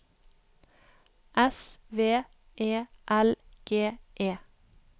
S V E L G E